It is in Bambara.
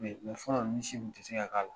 Mɛ fɔlɔ la, ninnu si kun tɛ se ka k'a la.